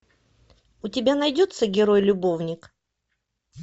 у тебя найдется герой любовник